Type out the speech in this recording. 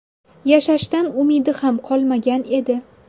Yashashdan umidi ham qolmagan edi.